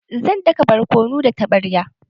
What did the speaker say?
Zan daka borkonu da taɓaryan